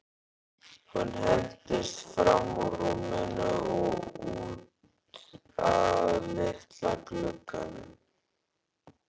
Hún hentist fram úr rúminu og út að litla glugganum.